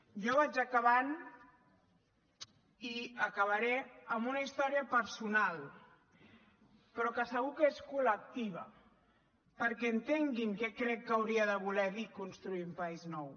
jo vaig acabant i acabaré amb una història personal però que segur que és collectiva perquè entenguin què crec que hauria de voler dir construir un país nou